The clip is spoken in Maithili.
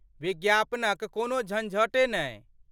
विज्ञापनक कोनो झञ्झटे नहि।